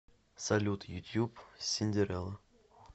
салют ютуб синдерелла